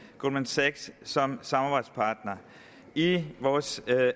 goldman sachs som samarbejdspartner i vores